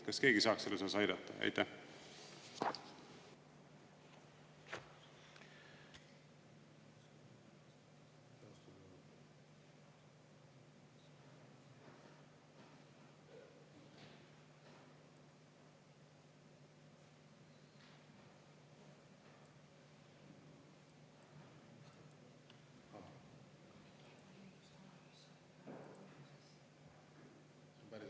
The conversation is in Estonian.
Kas keegi saaks selles osas aidata?